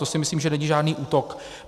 To si myslím, že není žádný útok.